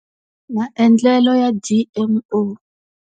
Maendlelo ya G_M_O.